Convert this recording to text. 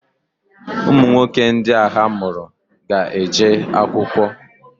Ụmụnwoke ndị a ha mụrụ ga-eje akwụkwọ.